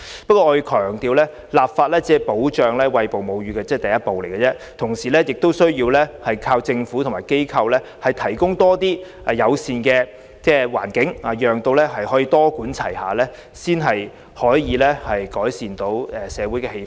不過，我要強調立法只是保障餵哺母乳的第一步，同時亦有賴政府和各機構提供更多友善環境，多管齊下，才能改善社會的氣氛。